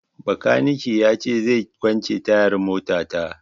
Bakanike na ya ce zai kwance tayar mota ta